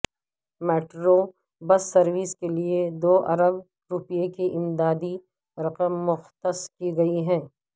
metro bus service کے لیے دو ارب روپے کی امدادی رقم مختص کی گئی ہے